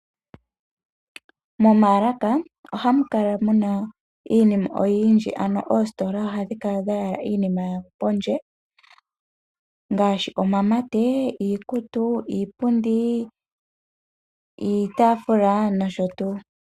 Momaalaka ohamu kala muna iinima oyindji. Oositola ohadhi kala dhayala iinima yayo pondje ngaashi omamate, iikutu, iipundi, iitaafula nosho tuu.